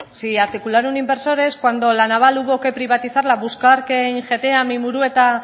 si articular un inversor es cuando la naval hubo que privatizarla buscar que ingeteam y murueta